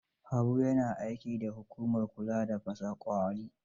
Habu ya na aiki da hukumar kula da fasa ƙwauri.